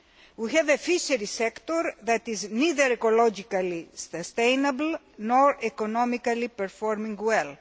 We have a fisheries sector that is neither ecologically sustainable nor economically performing well.